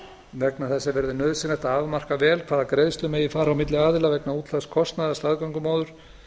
vegna þessa verði nauðsynlegt að afmarka vel hvaða greiðslur megi fara á milli aðila vegna útlagðs kostnaðar staðgöngumóður